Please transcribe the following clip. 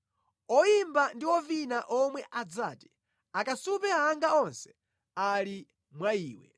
Oyimba ndi ovina omwe adzati, “Akasupe anga onse ali mwa iwe.”